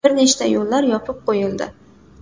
Bir nechta yo‘llar yopib qo‘yildi.